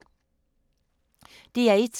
DR1